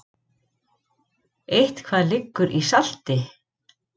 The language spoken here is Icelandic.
Eitthvað liggur í salti